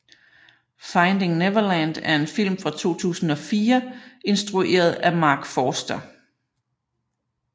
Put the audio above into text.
Finding Neverland er en film fra 2004 instrueret af Marc Forster